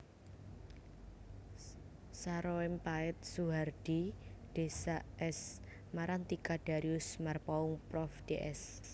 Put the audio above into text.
Saroempaet Soehardhi Ds S Marantika Darius Marpaung Prof Ds